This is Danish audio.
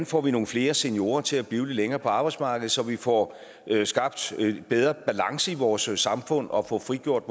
får nogle flere seniorer til at blive lidt længere på arbejdsmarkedet så vi får skabt bedre balance i vores samfund og får frigjort